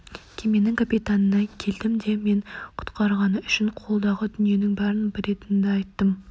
кеменің капитанына келдім де мені құтқарғаны үшін қолдағы дүниенің бәрін беретінімді айттым